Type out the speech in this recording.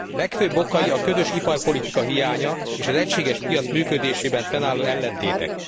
Legfőbb okai a közös iparpolitika hiánya és az egységes piac működésében fennálló ellentétek.